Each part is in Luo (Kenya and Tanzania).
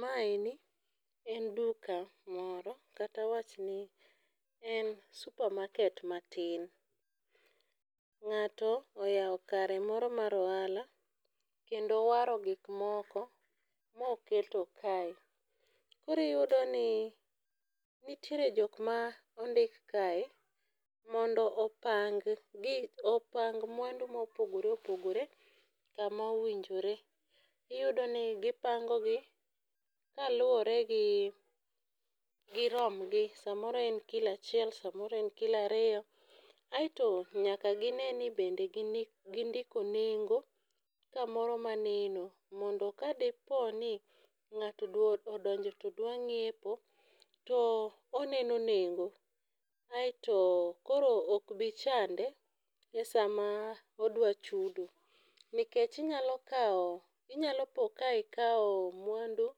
Maendi en duka moro, kata awachni en supermarket matin. Ng'ato oyao kare moro mar ohala, kendo owaro gik moko moketo kae. Koro iyudo ni nitiere jok ma ondik ake mondo opang gik, opang mwandu ma opogore opogore, kama owinjore. Iyudo ni gipango gi ka luwore gi girom gi, samoro en kilo achiel, sa moro en kilo ariyo. Aeto nyaka gine ni bende gindiko nengo kamoro maneno, mondo kadeponi ng'ato odonjo to dwa nyiepo, to oneno nengo. Aeto koto okbichande e sama odwa chudo. Nikech inyalo kawo, inyalo po ka ikawo mwandu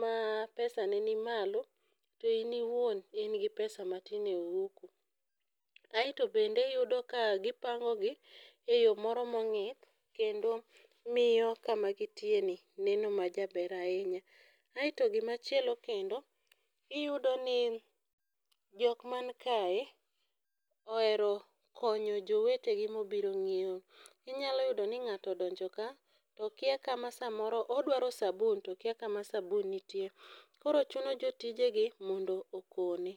ma pesa ne ni malo, to in iwuon in gi pesa matin ei ohuko. Aeto bende iyudo ka gipango gi e yo moro ma ong'ith kendo miyo kaka gintiere ni neno majaber ahinya. Aeto gim chielo kendo, iyudo ni jokma kae, ohero konyo jowete gi mobiro nyiewo. Inyalo yudo ni ng'ato odonjo ka, to okia kama samoro odwaro sabu, to okia kama sabun nitie. Koro chuno jotije gi mondo okone.